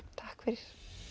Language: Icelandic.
takk fyrir